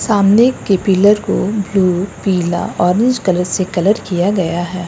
सामने के पिलर को ब्लू पीला ऑरेंज कलर से कलर किया गया है।